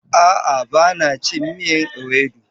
A'a bana cin miyan ewedu.